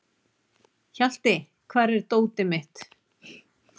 Hjalti, hvar er dótið mitt?